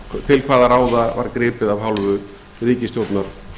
til hvaða ráða var gripið af hálfu ríkisstjórnar